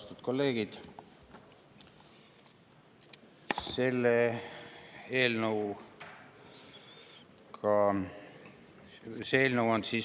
Austatud kolleegid!